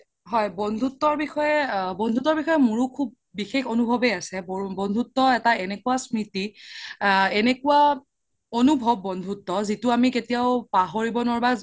হয় বন্ধুত্বৰ বিষয়ে, বন্ধুত্বৰ বিষয়ে মোৰো সুব বিষেস এনোভবে আছে বন্ধুত্বৰ এটা এনেকুৱা স্ম্ৰিতি আ এনেকুৱা এনোভব বন্ধুত্ব যিতো আমি কেতিয়াও পাহৰিব নোৱাৰো বা